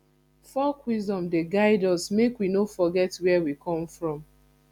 folk wisdom dey guide us make we no forget where we come from